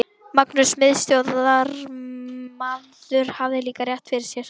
Magnús miðstjórnarmaður hafði líka rétt fyrir sér.